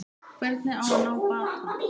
Hvernig á að ná bata?